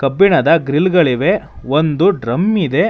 ಕಬ್ಬಿಣದ ಗ್ರಿಲ್ ಗಳಿವೆ ಒಂದು ಡ್ರಮ್ ಇದೆ.